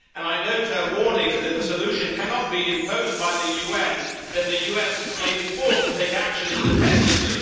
I note her warnings that if a solution cannot be imposed by the UN, then the US may be forced to take action independently.